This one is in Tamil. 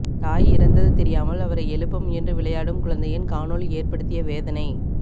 தாய் இறந்தது தெரியாமல் அவரை எழுப்ப முயன்று விளையாடும் குழந்தையின் காணொலி ஏற்படுத்திய வேதனை